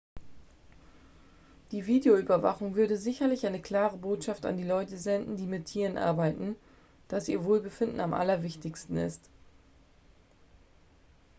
"""die videoüberwachung würde sicherlich eine klare botschaft an die leute senden die mit tieren arbeiten dass ihr wohlbefinden am allerwichtigsten ist.""